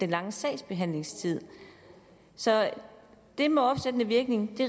lange sagsbehandlingstid så det med opsættende virkning